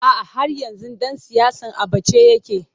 A'a, har yanzu ɗan siyasar a ɓace yake.